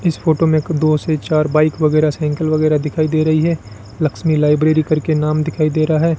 इस फोटो में एक दो से चार बाइक वगैरा साइकिल वगैरा दिखाई दे रही है लक्ष्मी लाइब्रेरी करके नाम दिखाई दे रहा है।